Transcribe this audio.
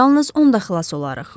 Yalnız onda xilas olarıq.